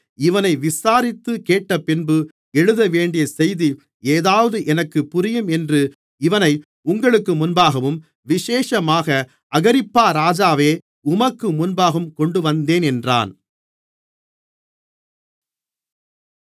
இவனை விசாரித்துக் கேட்டபின்பு எழுதவேண்டிய செய்தி ஏதாவது எனக்கு புரியும் என்று இவனை உங்களுக்கு முன்பாகவும் விசேஷமாக அகிரிப்பா ராஜாவே உமக்கு முன்பாகவும் கொண்டுவந்தேன் என்றான்